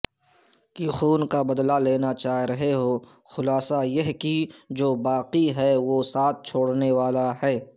کے خون کابدلہ لیناچاہ رہے ہوخلاصہ یہ کہ جوباقی ہے وہ ساتھ چھوڑنے والاہے